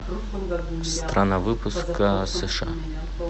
страна выпуска сша